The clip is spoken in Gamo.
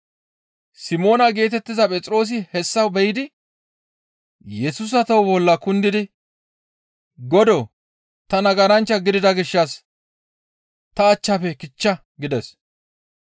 Simoona geetettiza Phexroosi hessa be7idi Yesusa toho bolla kundidi, «Godoo! Ta nagaranchcha gidida gishshas ta achchafe kichcha» gides.